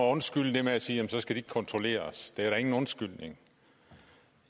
undskylde det og sige at så skal de ikke kontrolleres det er ingen undskyldning